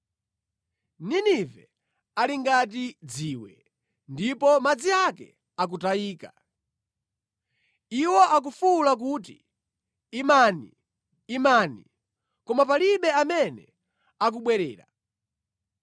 Ninive ali ngati dziwe, ndipo madzi ake akutayika. Iwo akufuwula kuti, “Imani! Imani!” Koma palibe amene akubwerera.